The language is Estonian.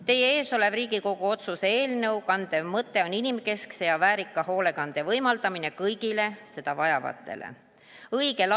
Teie ees oleva Riigikogu otsuse eelnõu kandev mõte on inimkeskse ja väärika hoolekande võimaldamine kõigile seda vajavatele inimestele.